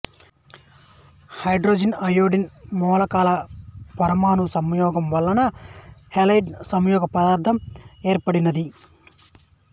hydrogen iodine మూలకాల పరమాణు సంయోగం వలన హలైడ్ సంయోగ పదార్థం ఏర్పడినది